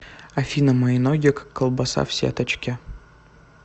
афина мои ноги как колбаса в сеточке